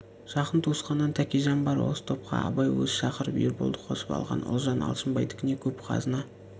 жақын туысқаннан тәкежан бар осы топқа абай өзі шақырып ерболды қосып алған ұлжан алшынбайдікіне көп қазына